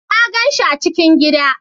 Na gan shi a cikin gida